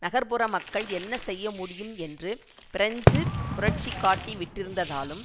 நகர்புற மக்கள் என்ன செய்ய முடியும் என்று பிரெஞ்சு புரட்சி காட்டிவிட்டிருந்ததாலும்